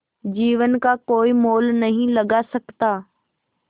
जीवन का कोई मोल नहीं लगा सकता